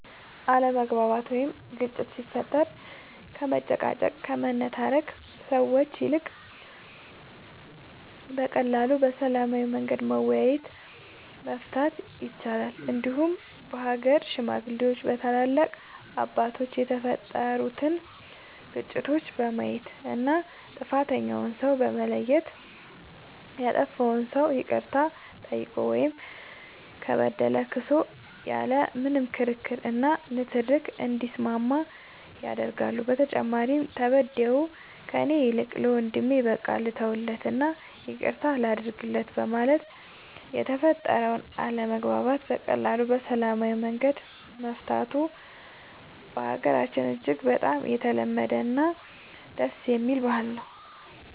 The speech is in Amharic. አለመግባባት ወይም ግጭት ሲፈጠር ከመጨቃጨቅ ከመነታረክ ሰዎች ይልቅ በቀላሉ በሰላማዊ መንገድ በመወያየት መፍታት ይቻላል እንዲሁም በሀገር ሽማግሌዎች በታላላቅ አባቶች የተፈጠሩትን ግጭቶች በማየት እና ጥፋተኛውን ሰው በማየት ያጠፋው ሰው ይቅርታ ጠይቆ ወይም ከበደለ ክሶ ያለ ምንም ክርክር እና ንትርክ እንዲስማማ ያደርጋሉ በተጨማሪም ተበዳዩ ከእኔ ይልቅ ለወንድሜ በቃ ልተውለት እና ይቅርታ ላድርግለት በማለት የተፈጠረውን አለመግባባት በቀላሉ በሰላማዊ መንገድ መፍታቱ በሀገራችን እጅግ በጣም የተለመደ እና ደስ የሚል ባህል ነው።